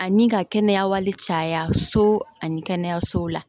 Ani ka kɛnɛya wali caya so ani kɛnɛyasow la